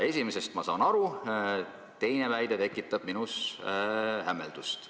Esimesest ma saan aru, teine väide tekitab minus hämmeldust.